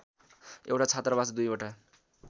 एउटा छात्रावास दुईवटा